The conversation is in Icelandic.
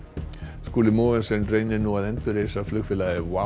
Skúli Mogensen reynir nú að endurreisa flugfélagið WOW